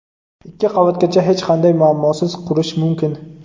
Ikki qavatgacha hech qanday muammosiz qurish mumkin.